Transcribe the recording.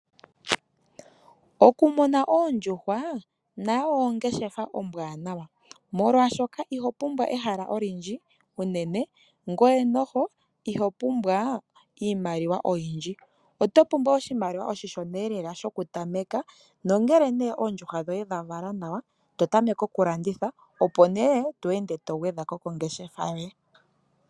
Oku muna oondjuhwa nayo ongeshefa ombwaanawa, molwaashoka iho pumbwa ehala olindji unene, ngoye noho iho pumbwa iimaliwa oyindji. Oto pumbwa oshimaliwa oshi shona elela shoku tameka, nongele nee oondjuhwa dhoye dha vala nawa to tameke oku landitha, opo nee to ende to gwedha ko kongeshefa yoye.